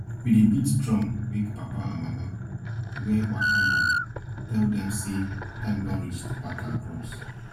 we dey beat drum wake papa and mama wey waka go tell dem say time don reach pack our crops